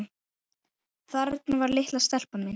Þarna var litla stelpan mín.